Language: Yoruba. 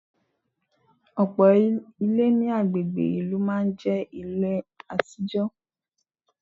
Ọ̀pọ̀ Ilé ní agbègbè ìlú máa n jé Ilé àtijọ́